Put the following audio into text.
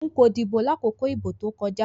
Nko dibo lakoko idibo to koja